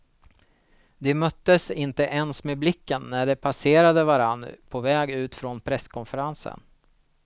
De möttes inte ens med blicken när de passerade varann på väg ut från presskonferensen.